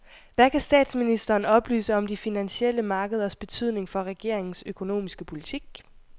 Hvad kan statsministeren oplyse om de finansielle markeders betydning for regeringens økonomiske politik?